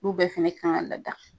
Olu bɛɛ fɛnɛ kan ka lada